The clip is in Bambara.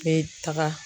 Bɛ taga